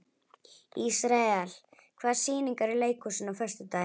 Ísrael, hvaða sýningar eru í leikhúsinu á föstudaginn?